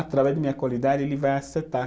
Através da minha qualidade, ele vai acertar.